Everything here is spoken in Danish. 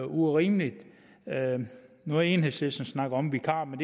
urimeligt nu har enhedslisten snakket om vikarer men